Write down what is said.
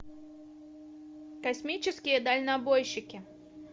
космические дальнобойщики